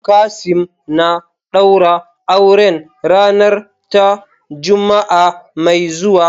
Kasim na daura auren ranar ta Juma'a mai zuwa.